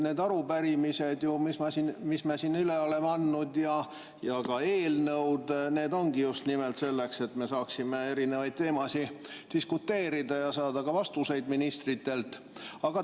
Need arupärimised, mis me siin üle oleme andnud, ja ka eelnõud ongi just nimelt selleks, et me saaksime erinevate teemade üle diskuteerida ja saada ka ministritelt vastuseid.